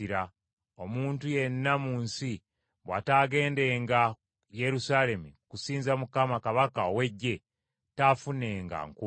Omuntu yenna mu nsi bw’ataagendenga Yerusaalemi kusinza Mukama Kabaka ow’Eggye, taafunenga nkuba.